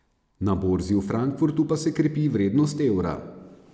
Na borzi v Frankfurtu pa se krepi vrednost evra.